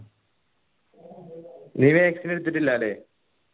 നീ vaccine എടുത്തിട്ടില്ല അല്ലെ